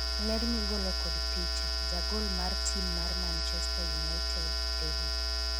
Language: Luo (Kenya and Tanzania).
ler migolo kod picha, jagol mar tim mar manchester united David